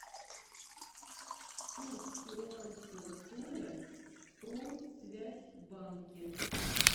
курс перуанского соля в промсвязьбанке